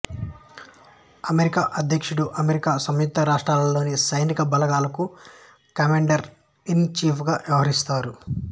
America అధ్యక్షుడు America సంయుక్త రాష్ట్రాలలోని సైనిక బలగాలకు కమాండర్ ఇన్ ఛీఫ్ గా వ్యవహరిస్తారు